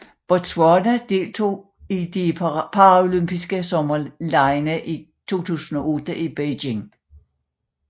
Botswana deltog i de paralympiske sommerlege 2008 i Beijing